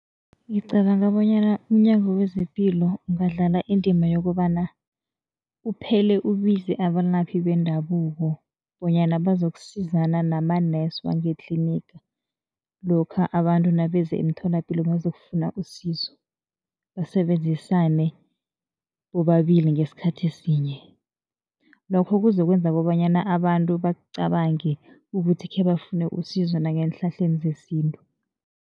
Ngicabanga bonyana umNyango wezePilo ungadlala indima yokobana uphele ubize abalaphi bendabuko bonyana bazokusizana nama-nurse wangetliniga, lokha abantu nabeze emtholapilo bazokufuna usizo, basebenzisane bobabili ngesikhathi sinye. Lokho kuzokwenza kobanyana abantu bacabange ukuthi khebafune usizo nangeenhlahleni zesintu.